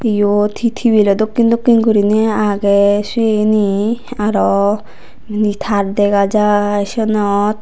iyot hee tibilo dokken dokken gurinei agey seni araw inni tar dega jai senot.